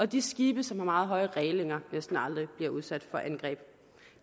de skibe som har meget høje rælinger næsten heller aldrig bliver udsat for angreb